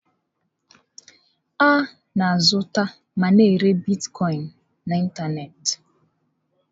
A na-azụta ma na-ere Bitkọin na ịntanetị.